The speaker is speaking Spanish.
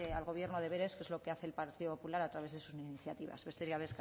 al gobierno deberes que es lo que hace el partido popular a través de sus iniciativas besterik